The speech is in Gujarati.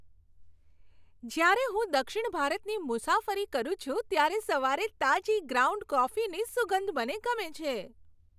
જ્યારે હું દક્ષિણ ભારતની મુસાફરી કરું છું ત્યારે સવારે તાજી ગ્રાઉન્ડ કોફીની સુગંધ મને ગમે છે.